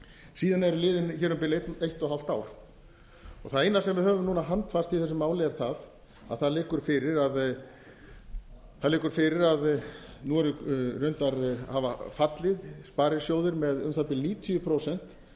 síðan eru liðin hér um bil eitt og hálft ár það eina sem við höfum núna handbært í þessu máli er það að það liggur fyrir að nú eru reyndar hafa fallið sparisjóðir með um það bil níutíu prósent